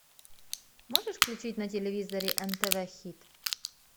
можешь включить на телевизоре нтв хит